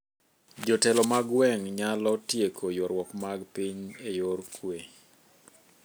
Jotelo mag gwenge nyalo tieko ywaruok mag piny e yor kuwe